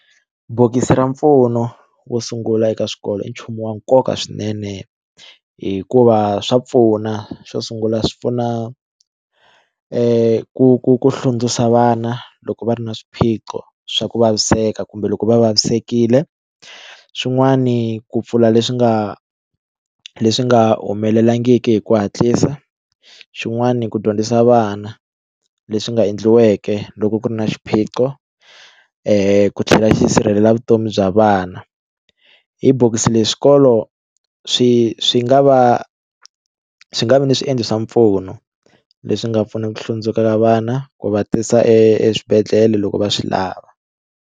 Bokisi ra mpfuno wo sungula eka swikolo i nchumu wa nkoka swinene hikuva swa pfuna xo sungula swi pfuna ku hlundzuxa vana loko va ri na swiphiqo swa ku vaviseka kumbe loko va vavisekile xin'wani ku pfula leswi nga leswi nga humelelangiki hi ku hatlisa xin'wani ku dyondzisa vana leswi nga endliweke loko ku ri na xiphiqo ku tlhela xi sirhelela vutomi bya vana hi bokisi leri swikolo swi swi nga va swi nga vi ni swiendlo swa mpfuno leswi nga pfunaka ku hlundzuka vana ku va tisa eswibedhlele loko va swi lava.